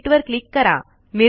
update वर click करा